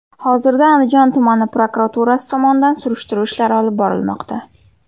Hozirda Andijon tumani prokuraturasi tomonidan surishtiruv ishlari olib borilmoqda.